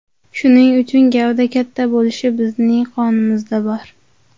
Shuning uchun gavda katta bo‘lishi bizning qonimizda bor.